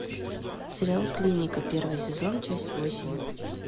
сериал клиника первый сезон часть восемь